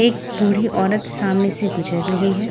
एक बूढी ओरत सामने से गुजर रही है।